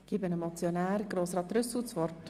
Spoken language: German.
Ich erteile dem Motionär Grossrat Trüssel das Wort.